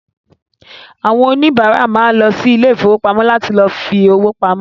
Àwọn òníbárà ma lọ sí ilé ìfowópamọ́ láti lọ fi owó pamọ́